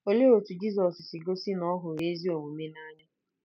Olee otú Jizọs si gosi na ya hụrụ ezi omume n’anya?